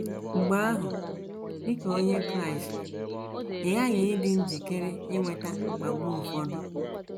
Mgbe ahụ, dị ka Onye Kraịst, ị ghaghị ịdị njikere inweta mkpagbu ụfọdụ.